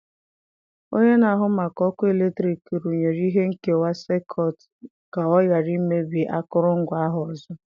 Onye na-ahụ maka ọkụ eletrik rụnyere ihe nkewa sekut ka ọ ghara imebi akụrụngwa ahụ ọzọ.